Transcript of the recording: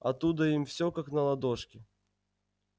оттуда им все как на ладошке